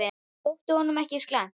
Það þótti honum ekki slæmt.